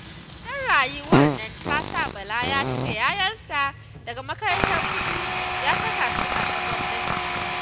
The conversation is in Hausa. Tsadar rayuwar nan ta sa Bala ya cire 'ya'yansa daga makarantar kuɗi ya saka su a ta gwamnati